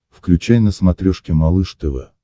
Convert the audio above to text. включай на смотрешке малыш тв